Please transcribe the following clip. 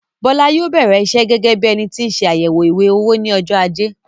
Bọ́lá yóò bẹrẹ iṣẹ gẹgẹ bíi énití nse àyẹwò ìwé-owó ní ọjọ ajé